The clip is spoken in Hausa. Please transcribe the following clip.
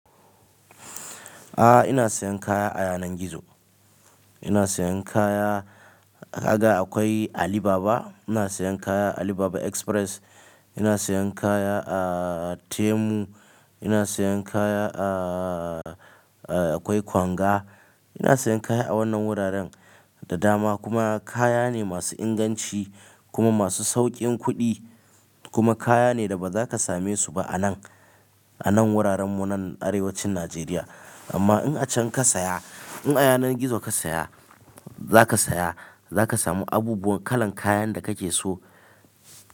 Ah ina sayan kaya a yanar gizo, ina sayan kaya daga akwai Alibaba, ina sayan kaya Alibaba Express, ina sayan kaya a Temu, ina sayan kaya a, a akwai Konga. Ina sayan kaya a wannan wuraren da dama kuma kaya ne masu inganci kuma masu sauƙin kuɗi kuma kaya ne da ba za ka same su ba a nan, a nan wuraren mu nan arewacin Najeriya. Amma in a can ka saya, in a yanar gizo ka saya, za ka saya, za ka samu abubuwan kalan kayan da kake so.